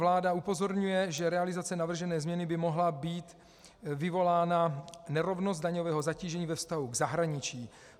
Vláda upozorňuje, že realizací navržené změny by mohla být vyvolána nerovnost daňového zatížení ve vztahu k zahraničí.